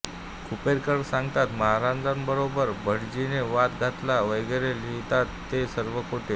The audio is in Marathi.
खुपेरकर सांगतात महाराजांबरोबर भटजीने वाद घातला वगैरे लिहितात ते सर्व खोटे